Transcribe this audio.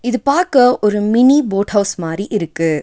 இது பாக்க ஒரு மினி போட் ஹவுஸ் மாறி இருக்கு.